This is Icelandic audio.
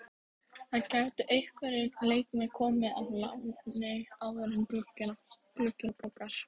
Það gætu einhverjir leikmenn komið á láni áður en glugginn lokar.